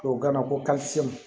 Tubabukan na ko